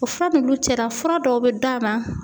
O fura ninnu cɛla fura dɔw bɛ d'a ma